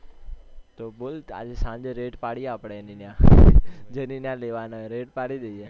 તો બોલ આજ સાંજે raid એની ન્યા જેની ન્યા લેવાનો હોય raid પાડી દઈએ